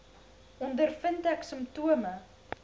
ondervind ek simptome